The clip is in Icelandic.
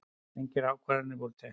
Engar ákvarðanir verið teknar